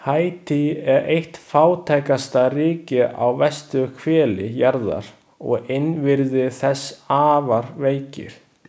Haítí er eitt fátækasta ríki á vesturhveli jarðar og innviðir þess afar veikir.